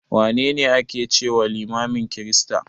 Wane ne a ke cewa limamin kirista?